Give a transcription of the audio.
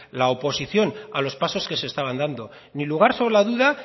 la oposición a los pasos que se estaban dando ni lugar sobre la duda